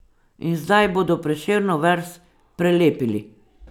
In zdaj bodo Prešernov verz prelepili.